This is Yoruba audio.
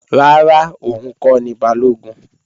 Rárá, òun kọ́ ni Balógun